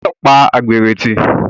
O gbọ́dọ̀ pa àgbèrè tì.